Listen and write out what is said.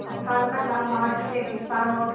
राजस्थान का नाम वहाँ के रेगिस्तान और